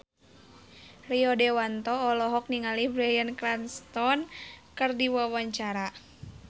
Rio Dewanto olohok ningali Bryan Cranston keur diwawancara